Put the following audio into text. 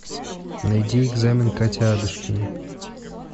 найди экзамен катя адушкина